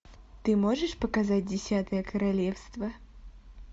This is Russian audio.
ты можешь показать десятое королевство